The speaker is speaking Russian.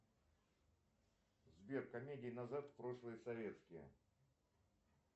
сбер комедии назад в прошлое советские